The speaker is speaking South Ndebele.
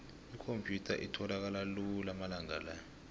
ikhomphyutha itholakala lula amalanga la